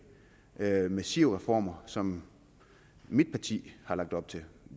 massive reformer som mit parti har lagt op til